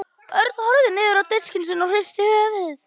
Örn horfði niður á diskinn sinn og hristi höfuðið.